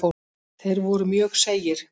Þeir voru mjög seigir.